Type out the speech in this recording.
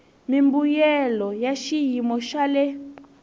mimbuyelo ya xiyimo xa le